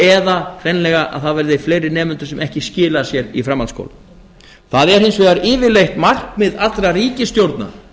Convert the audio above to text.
eða hreinlega það verði fleiri nemendur sem ekki skila sér í framhaldsskólann það er hins vegar yfirleitt markmið allra ríkisstjórna